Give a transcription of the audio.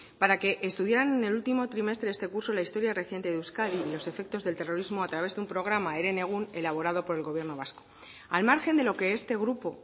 para que estudiaran en el último trimestre de este curso la historia reciente de euskadi y los efectos del terrorismo a través de un programa herenegun elaborado por el gobierno vasco al margen de lo que este grupo